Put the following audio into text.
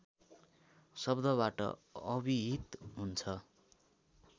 शब्दबाट अभिहित हुन्छ